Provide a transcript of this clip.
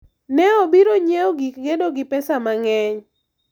ne obiro nyiewo gik gedo gi pesa mang'eny